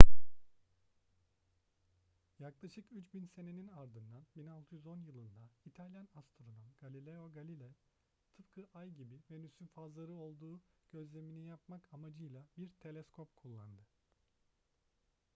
yaklaşık üç bin senenin ardından 1610 yılında i̇talyan astronom galileo galilei tıpkı ay gibi venüs'ün fazları olduğu gözlemini yapmak amacıyla bir teleskop kullandı